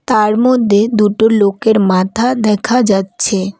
তার মধ্যে দুটো লোকের মাথা দেখা যাচ্ছে।